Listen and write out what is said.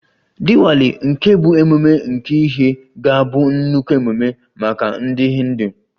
Diwali nke bụ ememme nke ìhè, ga-abụ nnukwu ememe maka ndị Hindu